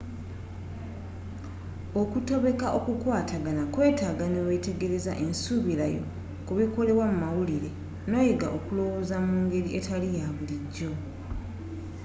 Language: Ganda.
okutobeka okukwatagana kwetaaga newetegereza ensubirayo ku bikolebwa mu mawulire noyiga okulowooza mu ngeri etali ya bulijjo